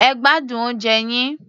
Ẹ gbádùn oúnjẹ yín.